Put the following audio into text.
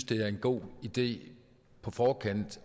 det er en god idé på forkant